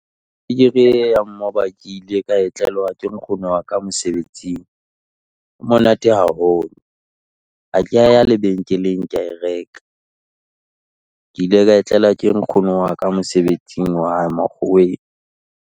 Mmoba ke ile ka e tlelwa ke nkgono wa ka mosebetsing, e monate haholo. Ha ke ya ya lebenkeleng ke ya e reka, ke ile ka tlelwa ke nkgono wa ka mosebetsing wa hae makgoweng.